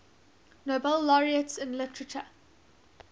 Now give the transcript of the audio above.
nobel laureates in literature